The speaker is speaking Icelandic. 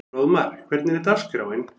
Fróðmar, hvernig er dagskráin?